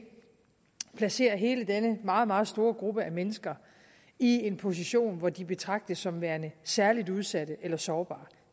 placerer hele denne meget meget stor gruppe af mennesker i en position hvor de betragtes som værende særlig udsatte eller sårbare